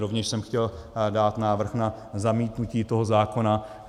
Rovněž jsem chtěl dát návrh na zamítnutí toho zákona.